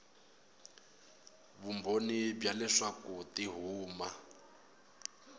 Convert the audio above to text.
vumbhoni bya leswaku ti huma